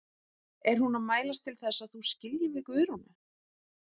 Er hún að mælast til þess að þú skiljir við Guðrúnu?